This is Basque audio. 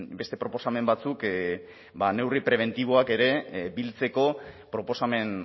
beste proposamen batzuk neurri prebentiboak ere biltzeko proposamen